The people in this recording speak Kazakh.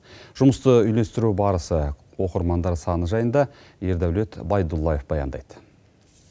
жұмысты үйлестіру барысы оқырмандар саны жайында ердәулет байдуллаев баяндайды